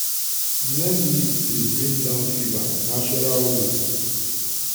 neem leaf dey bring down fever natural way.